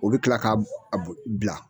O bɛ kila k'a a bo bila